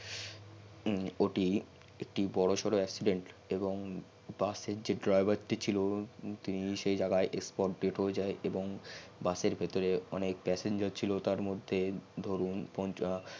এটি একটি বর সর accident এবং বাস যে driver টি ছিল তিনি সেই spot dead হয়ে যাই এবং বাস এর ভেতরে অনেক passenger ছিল তার মধহ্যে ধরুন কনটা